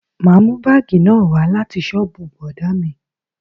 Ma mú bagi náà wá láti soobu bọ̀dá mi